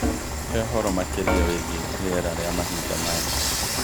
He ũhoro makĩria wĩgiĩ rĩera rĩa mahinda maya